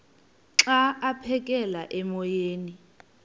xa aphekela emoyeni